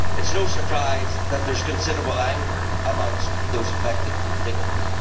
It is no surprise that there is considerable anger amongst those affected constituents.